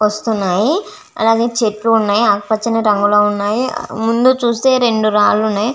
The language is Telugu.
వస్తున్నాయి అలాగే చేట్టు వునాయ్ ఆకూ పచని రంగు లో వున్నాయ్ ముందూ చూస్తే రెండు రాళ్ళూ వున్నాయి.